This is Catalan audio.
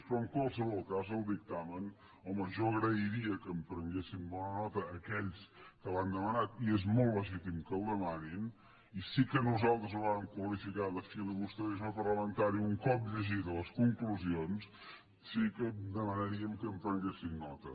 però en qualsevol cas el dictamen home jo agrairia que en prenguessin bona nota aquells que l’han demanat i és molt legítim que el demanin i sí que nosaltres ho vàrem qualificar de filibusterisme parlamentari un cop llegides les conclusions sí que demanaríem que en prenguessin nota